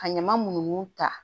Ka ɲama munnu ta